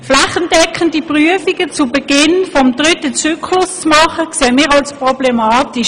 Flächendeckende Prüfungen zu Beginn des dritten Zyklus zu machen, erachten wir als problematisch.